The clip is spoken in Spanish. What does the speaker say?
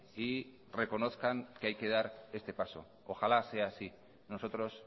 y reconozcan que hay que dar este paso ojalá sea así nosotros